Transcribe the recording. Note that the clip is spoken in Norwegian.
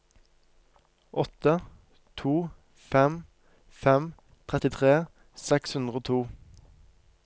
åtte to fem fem trettitre seks hundre og to